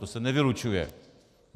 To se nevylučuje.